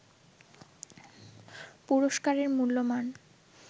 পুরস্কারের মূল্যমান